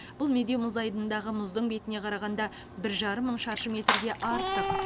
бұл медеу мұз айдынындағы мұздың бетіне қарағанда бір жарым мың шаршы метрге артық